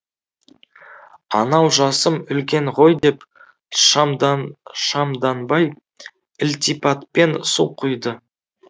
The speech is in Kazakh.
анау жасым үлкен ғой деп шамдан шамданбай ілтипатпен су құйды